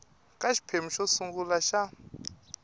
ka xiphemu xo sungula xa